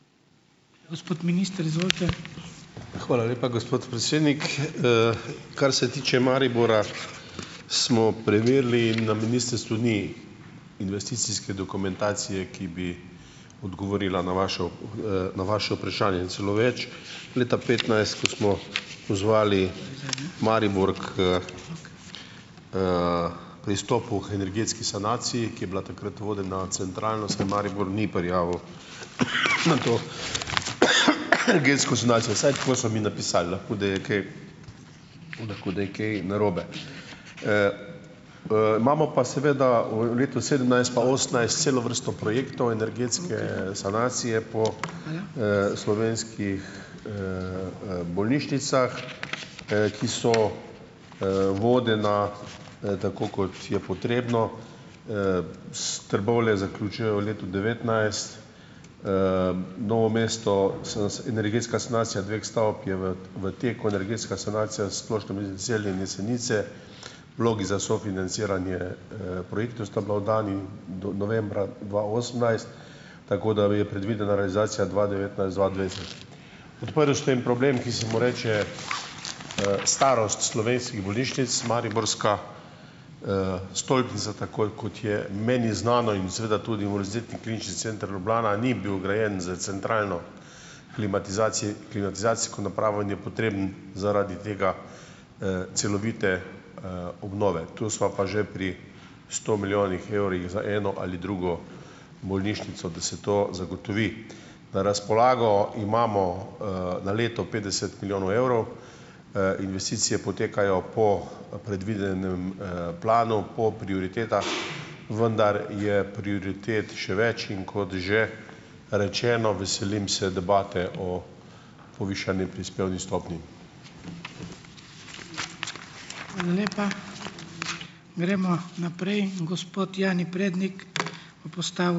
Hvala lepa, gospod predsednik. Kar se tiče Maribora, smo preverili in na ministrstvu ni investicijske dokumentacije, ki bi odgovorila na vašo na vaše vprašanje. Celo več, leta petnajst, ko smo pozvali Maribor k, pristopu k energetski sanaciji, ki je bila takrat vodena centralno, se Maribor ni prijavil na to energetsko sanacijo, vsaj tako so mi napisali, lahko da je kaj lahko da je kaj narobe. Imamo pa seveda v letu sedemnajst pa osemnajst celo vrsto projektov energetske sanacije po, slovenskih, bolnišnicah, ki so, vodena, tako kot je potrebno. Trbovlje zaključuje v letu devetnajst, Novo mesto energetska sanacija dveh stavb je v v teku, energetska sanacija Splošne bolnišnice Celje in Jesenice, vlogi za sofinanciranje, projektov sta bila oddani novembra dva osemnajst, tako da je predvidena realizacija dva devetnajst-dva dvajset. Odprli ste en problem, ki se mu reče, starost slovenskih bolnišnic. Mariborska, stolpnica, tako je kot je meni znano, in seveda tudi Univerzitetni klinični center Ljubljana ni bil grajen s centralno klimatizacijsko napravo in je potreben zaradi tega, celovite, obnove. Tu sva pa že pri sto milijonih evrih za eno ali drugo bolnišnico, da se to zagotovi. Na razpolago imamo, na leto petdeset milijonov evrov. Investicije potekajo po predvidenem, planu, po prioritetah. Vendar je prioritet še več. In kot že rečeno, veselim se debate o povišani prispevni stopnji.